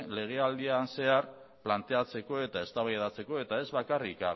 legealdian zehar planteatzeko eta eztabaidatzeko ez bakarrik